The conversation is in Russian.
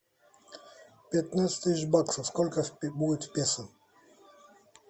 пятнадцать тысяч баксов сколько будет в песо